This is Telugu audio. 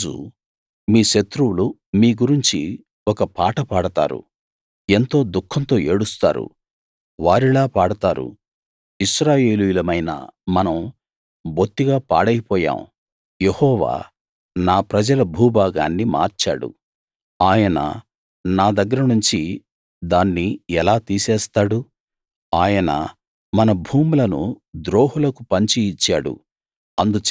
ఆ రోజు మీ శత్రువులు మీ గురించి ఒక పాట పాడతారు ఎంతో దుఃఖంతో ఏడుస్తారు వారిలా పాడతారు ఇశ్రాయేలీయులమైన మనం బొత్తిగా పాడైపోయాం యెహోవా నా ప్రజల భూభాగాన్ని మార్చాడు ఆయన నా దగ్గర నుంచి దాన్ని ఎలా తీసేస్తాడు ఆయన మన భూములను ద్రోహులకు పంచి ఇచ్చాడు